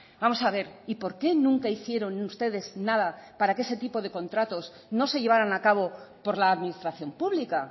vamos a ver y por qué nunca hicieron ustedes nada para que ese tipo de contratos no se llevaran a cabo por la administración pública